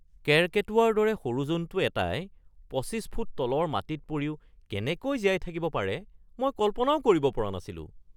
কেৰ্কেটুৱাৰ দৰে সৰু জন্তু এটাই ২৫ ফুট তলৰ মাটিত পৰিও কেনেকৈ জীয়াই থাকিব পাৰে মই কল্পনাও কৰিব পৰা নাছিলো। (ব্যক্তি ১)